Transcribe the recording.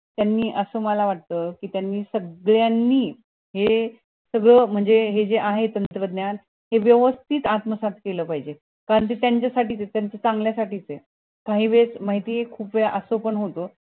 त्यांनी असं मला वाट कि त्यांनी सगळयांनी हे जे आहे तंत्रज्ञान हे वेवस्तीत आत्मसात केलं पाहिजे त्याच्या साठी च ये त्याच्या चंगल्या साठी च ये काही वेळेस माहित ये खूप वेळेस असं पण होत